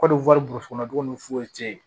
Kɔmi wari b'u kɔnɔ dugun ni foyi cɛ ye